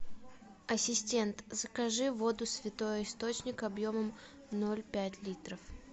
ассистент закажи воду святой источник объемом ноль пять литров